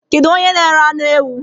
Kedu onye n:ere anụ ewụ?